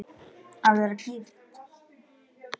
Að vera gift?